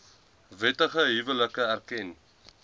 wettige huwelike erken